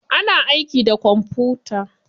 Ana aiki da kwamfuta.